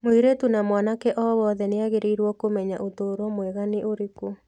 Mũirĩtu na mwanake o wothe nĩ agĩrĩirũo kũmenya ũtũũro mwega nĩ ũrĩkũ.